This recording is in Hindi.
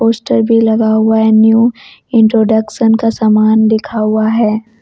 पोस्टर भी लगा हुआ है न्यू इंट्रोडक्शन का समान लिखा हुआ है।